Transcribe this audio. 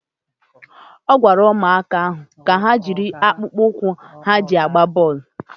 A gwara ụmụaka ahụ ka ha jiri akpụkpọ ụkwụ ha ga-eji agba bọọlụ